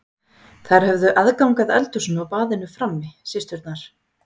Þær höfðu aðgang að eldhúsinu og baðinu frammi, systurnar.